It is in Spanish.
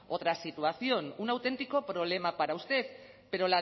otra situación un auténtico problema para usted pero